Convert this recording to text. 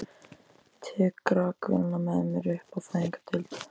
Tek rakvélina með mér upp á fæðingardeild.